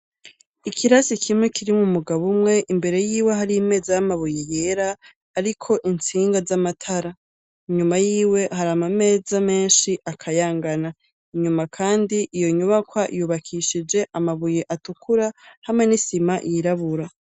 Ikirasi kimwe kirimwo umugabo umwe imbere yiwe hari imeza y'amabuye yera ariko intsinga z'amatara, inyuma yiwe hari amameza menshi akayangana, inyuma kandi iyo nyubakwa yubakishije amabuye atukura hamwe n'isima yirabura.